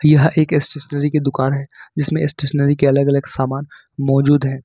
यह एक स्टेशनरी की दुकान है जिसमे स्टेशनरी के अलग अलग सामान मौजूद हैं।